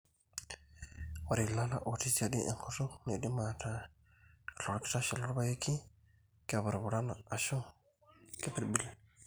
Ore ilala ootii siadi enkutuk neidim aataa ilorkitashe lorpaeki, kepurupurana, ashu keipirbil.